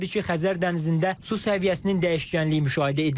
İllərdir ki, Xəzər dənizində su səviyyəsinin dəyişkənliyi müşahidə edilir.